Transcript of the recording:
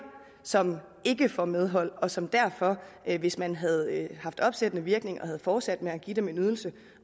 som ikke får medhold og som derfor hvis man havde haft opsættende virkning og havde fortsat med at give dem en ydelse